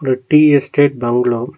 ஒரு tea estate Bangalore .